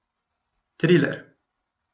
Triler.